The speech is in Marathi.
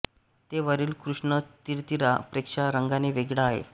ते वरील कृष्ण थिरथिरा पेक्षा रंगाने वेगळे आहेत